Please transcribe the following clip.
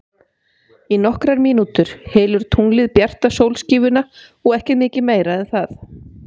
Í nokkrar mínútur hylur tunglið bjarta sólskífuna og ekki mikið meira en það.